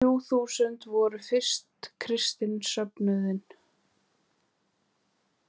Þessi þrjú þúsund voru fyrsti kristni söfnuðurinn.